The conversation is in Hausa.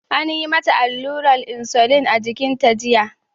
An yi mata allurar insulin a jikinta jiya.